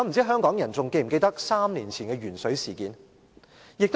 香港人是否還記得3年前的鉛水事件？